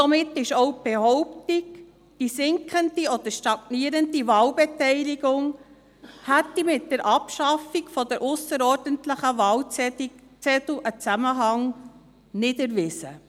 Somit ist auch die Behauptung nicht erwiesen, wonach die sinkende oder stagnierende Wahlbeteiligung einen Zusammenhang mit der Abschaffung der ausserordentlichen Wahlzettel hätte.